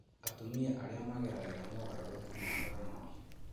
Atumia arĩa mageragĩra mogarũrũku ma homoni